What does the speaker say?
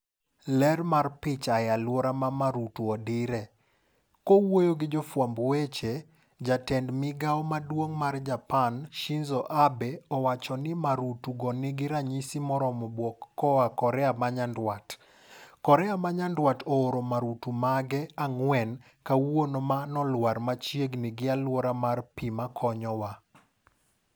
Ler mar picha, E aluora ma marutu odire. Kowuoyo gi jofwamb weche , jatend migao maduongmar Japan, Shinzo Abe, owacho ni marutu go nigi ranyisi moromo bwok koa Korea ma nyandwat ''Korea ma nyandwat ooro marutu mage ang'wen kawuono ma nolwar machiegni gi aluora mar kar pii makonyowa.